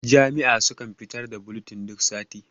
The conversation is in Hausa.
jami'a sukan fitar da bulitin duk sati